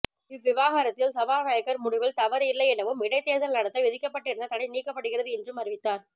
இவ்விவகாரத்தில் சபாநாயகர் முடிவில் தவறு இல்லை எனவும் இடைத்தேர்தல் நடத்த விதிக்கப்பட்டிருந்த தடை நீக்கப்படுகிறது என்றும் அறிவித்தார்